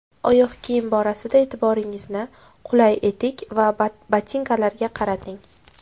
Oyoq kiyim borasida e’tiboringizni qulay etik va botinkalarga qarating.